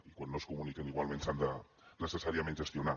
i quan no es comuniquen igualment s’han de necessàriament gestionar